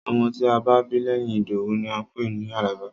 Ọmọ tí a bá bí lẹ́yìn Ìdòwú ni à ń pè ní Àlàbá.